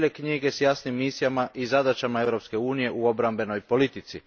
bijele knjige, s jasnim misijama i zadaćama Europske unije u obrambenoj politici.